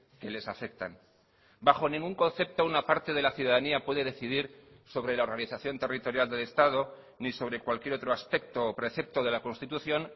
que les afectan bajo ningún concepto una parte de la ciudadanía puede decidir sobre la organización territorial del estado ni sobre cualquier otro aspecto o precepto de la constitución